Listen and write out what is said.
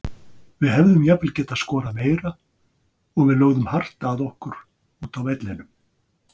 Við hefðum jafnvel getað skorað meira og við lögðum hart að okkur úti á vellinum.